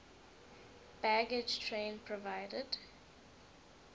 baggage train provided